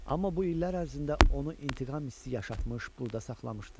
Amma bu illər ərzində onu intiqam hissi yaşatmış, burda saxlamışdı.